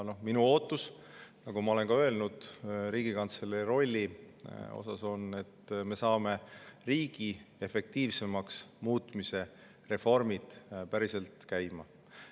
Minu ootus, nagu ma olen ka öelnud, Riigikantselei rollile on see, et me saame riigi efektiivsemaks muutmise reformid päriselt käima.